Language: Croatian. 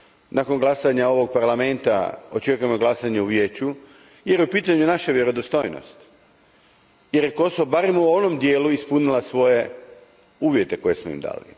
Nakon glasanja ovoga Parlamenta očekujem glasanje u Vijeću jer u pitanju je naša vjerodostojnost budući da je Kosovo, barem u ovom dijelu, ispunilo svoje uvjete koje smo im dali.